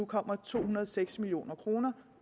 kommer to hundrede og seks million kroner